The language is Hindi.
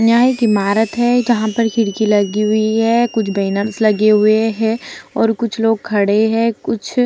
यहाँ एक ईमारत है जहां पर खिड़की लगी हुई हैं कुछ बेनर्स लगे हुए है और कुछ लोग खड़े है कुछ --